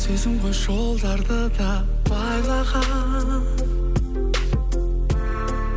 сезім ғой жолдарды да байлаған